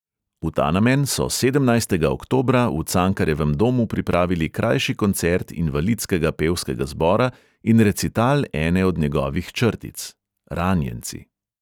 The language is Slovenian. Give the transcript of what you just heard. V ta namen so sedemnajstega oktobra v cankarjevem domu pripravili krajši koncert invalidskega pevskega zbora in recital ene od njegovih črtic